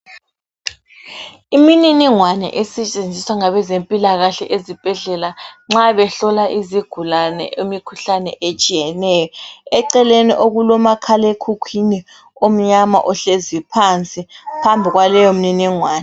Imininingwane esetshenziswa ngabezempilakahle ezibhedlela nxa behlola izigulane imikhuhlane etshiyeneyo, eceleni okulomakhalekhukhwini omnyama ohleziyo phansi, phambi kwaleyo mniningwane.